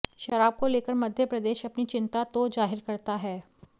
शराब को लेकर मध्य प्रदेश अपनी चिंता तो जाहिर करता है